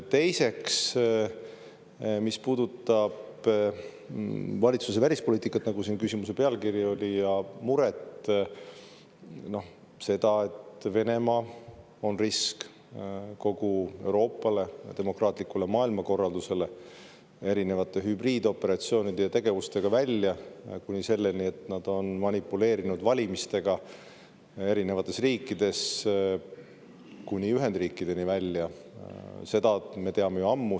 Teiseks, mis puudutab valitsuse välispoliitikat, nagu küsimuse pealkiri oli, ja muret, et Venemaa on risk kogu Euroopale ja demokraatlikule maailmakorraldusele oma erinevate hübriidoperatsioonide ja tegevustega kuni selleni, et nad on manipuleerinud valimistega erinevates riikides, kuni Ühendriikideni välja – seda me teame ju ammu.